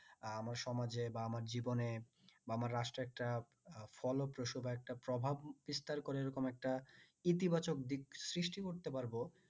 আহ আমার সমাজে বা আমার জীবনে বা আমার রাষ্ট্রে একটা ফলপ্রসু একটা প্রভাব বিস্তার করে এরকম একটা ইতিবাচক দিক সৃষ্টি করতে পারবো